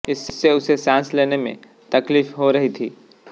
इससे उसे सांस लेने में तकलीफ हो रही थी